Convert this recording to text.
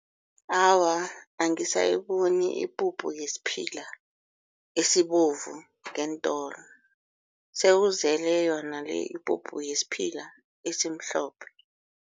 Awa, angisayiboni ipuphu yesiphila esibovu ngeentolo sele kuzele yona le ipuphu yisphila esimhlophe.